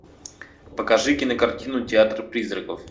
покажи кинокартину театр призраков